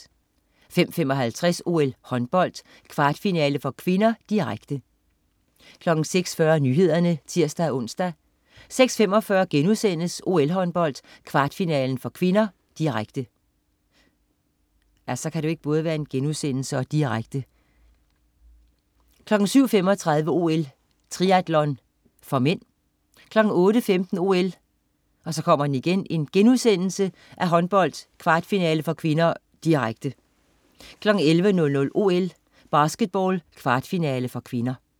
05.55 OL: Håndbold, kvartfinale (k), direkte 06.40 Nyhederne (tirs-ons) 06.45 OL: Håndbold, kvartfinale (k), direkte* 07.35 OL: Triatlon (m) 08.15 OL: Håndbold, kvartfinale (k), direkte* 11.00 OL: Basketball, kvartfinale (k)